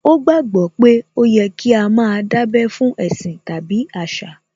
Ó gbàgbó pé ó yẹ kí á má a dábẹ́ fún ẹ̀sìn tàbí àṣà